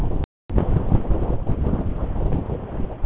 Helmingur húsanna sneri móti mestu kuldaátt og sólarleysi.